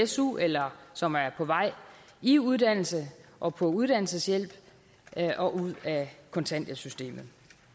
su eller som er på vej i uddannelse og på uddannelseshjælp og ud af kontanthjælpssystemet